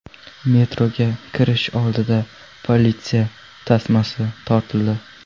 Metroga kirish oldida politsiya tasmasi tortildi.